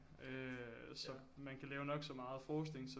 Øh så man kan lave nok så meget forskning